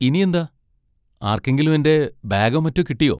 ഇനിയെന്താ? ആർക്കെങ്കിലും എന്റെ ബാഗോ മറ്റോ കിട്ടിയോ?